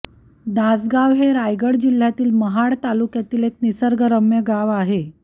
दासगांव हे रायगड जिल्ह्यातील महाड तालुक्यातील एक निसर्गरम्य गाव आहे